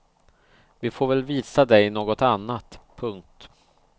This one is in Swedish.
Vi får väl visa dig något annat. punkt